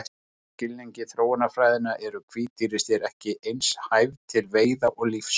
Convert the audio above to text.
Samkvæmt skilningi þróunarfræðinnar eru hvít tígrisdýr ekki eins hæf til veiða og lífs.